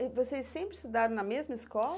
E vocês sempre estudaram na mesma escola?